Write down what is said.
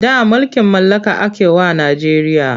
Da mulkin mallaka ake wa Najeriya.